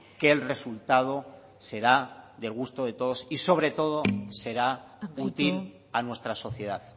que el resultado será del gusto de todos y sobre todo será útil a nuestra sociedad